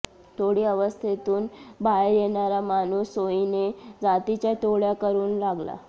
टोळी अवस्थेतून बाहेर येणारा माणूस सोयीने जातीच्या टोळ्या करू लागला